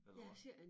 Eller hvad